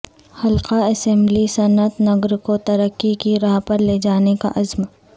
حلقہ اسمبلی صنعت نگر کو ترقی کی راہ پر لے جانے کا عزم